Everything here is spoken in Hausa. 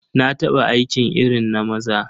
Na taɓa aiki irin na maza.